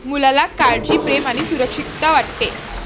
मुलाला काळजी, प्रेम आणि सुरक्षितता वाटते.